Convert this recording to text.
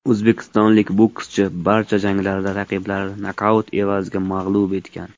O‘zbekistonlik bokschi barcha janglarida raqiblarini nokaut evaziga mag‘lub etgan.